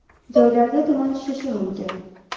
Joylarda tuman tushishi mumkin.